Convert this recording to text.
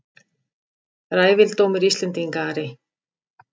Ræfildómur Íslendinga Ari!